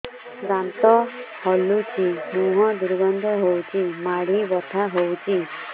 ଦାନ୍ତ ହଲୁଛି ମୁହଁ ଦୁର୍ଗନ୍ଧ ହଉଚି ମାଢି ବଥା ହଉଚି